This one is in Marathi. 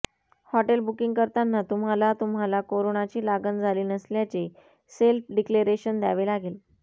हॉटेल बुकिंग करताना तुम्हाला तुम्हाला कोरोनाची लागण झाली नसल्याचे सेल्फ डिक्लेरेशन द्यावे लागेल